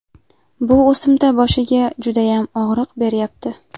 Bu o‘simta boshiga judayam og‘riq beryapti.